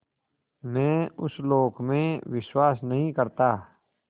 मैं उस लोक में विश्वास नहीं करता